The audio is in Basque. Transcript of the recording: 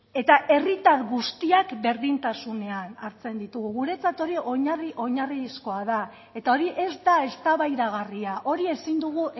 eta herritar guztiak berdintasunean hartzen ditugu guretzat hori oinarri oinarrizkoa da eta hori ez da eztabaidagarria hori ezin dugu